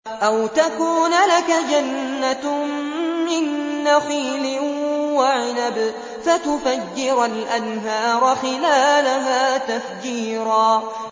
أَوْ تَكُونَ لَكَ جَنَّةٌ مِّن نَّخِيلٍ وَعِنَبٍ فَتُفَجِّرَ الْأَنْهَارَ خِلَالَهَا تَفْجِيرًا